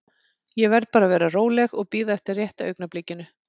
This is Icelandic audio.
Ég verð bara að vera róleg og bíða eftir rétta augnablikinu.